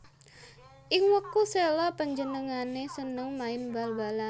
Ing wektu sela panjenengané seneng main bal balan